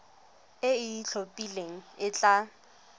e e itlhophileng e tla